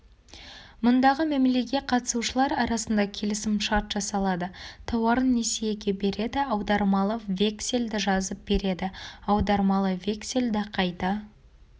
мұндағы мәмілеге қатысушылар арасында келісім-шарт жасалады тауарын несиеге береді аудармалы вексельді жазып береді аудармалы вексельді қайта